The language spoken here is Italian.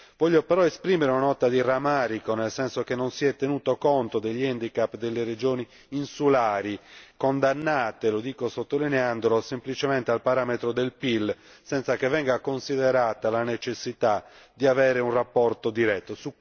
Desidero però esprimere una nota di rammarico per il fatto che non si sia tenuto conto degli handicap delle regioni insulari, condannate lo dico sottolineandolo semplicemente al parametro del PIL, senza che venga considerata la necessità di avere un rapporto diretto.